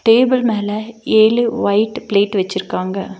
Table மேல ஏழு white plate வச்சிருக்காங்க.